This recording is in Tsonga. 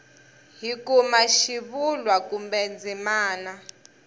hi kuma xivulwa kumbe ndzimana